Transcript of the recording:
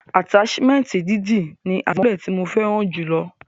Ataṣimẹnti dídì ni adimọlẹ ti mo fẹràn jù lọ.